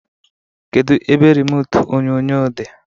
Kedụ ebe remutu onyonyo dị?